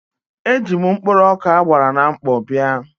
Eji m mkpụrụ ọkà a gbara na mkpọ bịa.